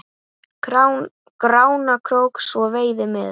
Grána krók svo veiði með.